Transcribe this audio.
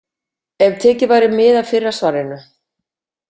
Ef tekið væri mið af fyrra svarinu.